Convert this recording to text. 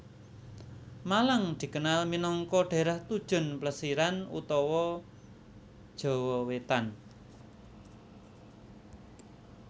Malang dikenal minangka dhaérah tujon plesiran utama Jawa Wétan